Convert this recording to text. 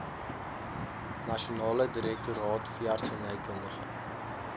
nasionale direktoraat veeartsenykundige